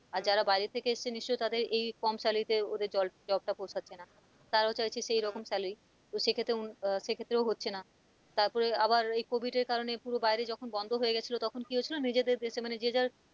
আর যারা বাইরে থেকে এসেছে নিশ্চিয় তাদের এই কম salary তে ওদের জল job টা পোশাচ্ছে না তারাও চাইছে সেই রকম salary সেক্ষেত্রে আহ সে ক্ষেত্রেও হচ্ছে না তারপর আবার এই covid এর কারণে পুরো বাইরে যখন বন্ধ হয়ে গিয়েছিল তখন কি হয়েছিল নিজেদের দেশে মানে যে যার,